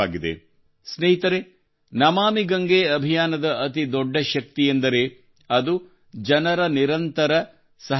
ಸ್ನೇಹಿತರೇ ನಮಾಮಿ ಗಂಗೆ ಅಭಿಯಾನದ ಅತಿ ದೊಡ್ಡ ಶಕ್ತಿಯೆಂದರೆ ಅದು ಜನರ ನಿರಂತರ ಸಹಭಾಗಿತ್ವ